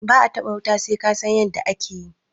ba a taba wuta sai ka San yadda ake yi